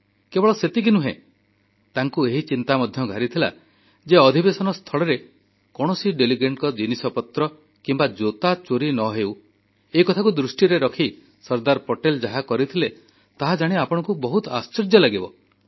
କେବଳ ସେତିକି ନୁହେଁ ତାଙ୍କୁ ଏହି ଚିନ୍ତା ମଧ୍ୟ ଘାରିଥିଲା ଯେ ଅଧିବେଶନ ସ୍ଥଳରେ କୌଣସି ପ୍ରତିନିଧିଙ୍କ ଜିନିଷପତ୍ର କିମ୍ବା ଜୋତା ଚୋରି ନ ହେଉ ଏକଥାକୁ ଦୃଷ୍ଟିରେ ରଖି ସର୍ଦ୍ଦାର ପଟେଲ ଯାହା କରିଥିଲେ ତାହାଜାଣି ଆପଣଙ୍କୁ ବହୁତ ଆଶ୍ଚର୍ଯ୍ୟ ଲାଗିବ